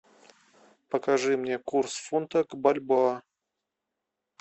покажи мне курс фунта к бальбоа